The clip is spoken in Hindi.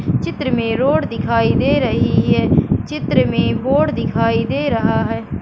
चित्र में रोड दिखाई दे रही है चित्र में बोर्ड दिखाई दे रहा है।